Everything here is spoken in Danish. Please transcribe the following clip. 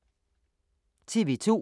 TV 2